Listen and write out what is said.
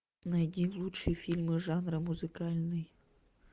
найди лучшие фильмы жанра музыкальный